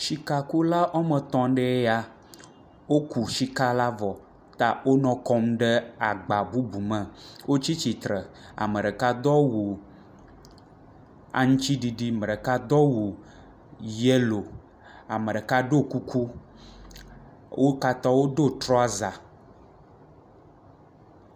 Sikakula wɔme etɔ̃ mɖee ya. Woku sika la vɔ ta wonɔ kɔm ɖe agba bubu me. Wotsi tsitre. Ame ɖeka dɔ wu aŋtsiɖiɖi. me ɖeka dɔ wu yelo. Ame ɖeka ɖo kuku. Wo katã wodo trɔza.